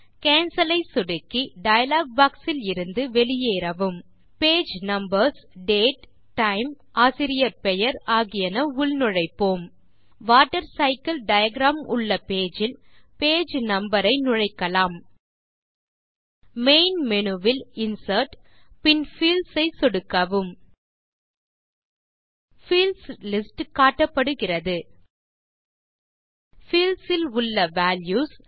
cancel ஐ சொடுக்கி dialog box இலிருந்து வெளியேறவும் பேஜ் நம்பர்ஸ் டேட் டைம் ஆசிரியர் பெயர் ஆகியன உள்நுழைப்போம் வாட்டர்சைக்கில் டயாகிராம் உள்ள பேஜ் இல் பேஜ் நம்பர் ஐ நுழைக்கலாம் மெயின் மேனு வில் இன்சர்ட் பின் பீல்ட்ஸ் ஐ சொடுக்கவும் பீல்ட்ஸ் லிஸ்ட் காட்டப்படுகிறது பீல்ட்ஸ் இல் உள்ள வால்யூஸ்